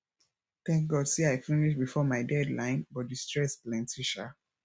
thank god say i finish before my deadline but the stress plenty sha